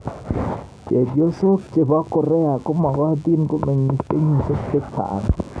Chephosok chepo Korea komokotin komeng'is kenyishek chechang.